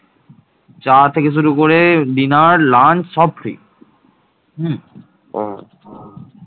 চা থেকে শুরু করে dinner lunch সব free